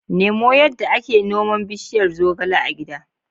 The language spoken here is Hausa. Nemo yadda ake noman bishiyar zogale a gida.